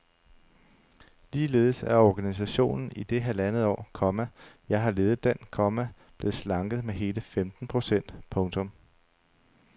Ligeledes er organisationen i det halvandet år, komma jeg har ledet den, komma blevet slanket med hele femten procent. punktum